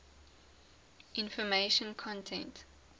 information content